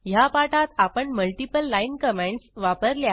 ह्या पाठात आपण मल्टिपल लाईन कॉमेंटस वापरल्या